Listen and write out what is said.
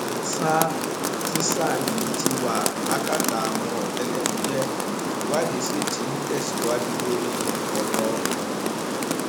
sá tíṣà yìí ti wà lákàtà àwọn ọtẹlẹmúyẹ ìwádìí sí tí ń tẹsíwájú lórí ọrọ ọhún